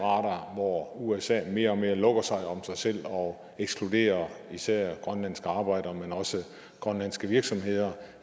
radar hvor usa mere og mere lukker sig om sig selv og ekskluderer især grønlandske arbejdere men også grønlandske virksomheder